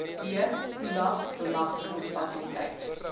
b khula bemagtigingsfasiliteit